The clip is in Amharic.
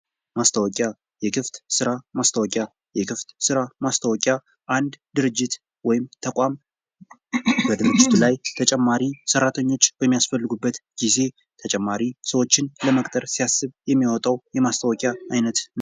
ማስታወቂያ ክፍት ስራ ማስታወቂያ አንድ ድርጅት ወይም ተቋም የድርጅቱ ላይ ተጨማሪ ሠራተኞች በሚያስፈልጉበት ጊዜ ተጨማሪ ሰዎችን ለመቅጠር ሲያስብ የሚያወጣው ማስታወቂያ አይነት ነው።